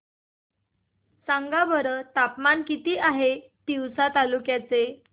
सांगा बरं तापमान किती आहे तिवसा तालुक्या चे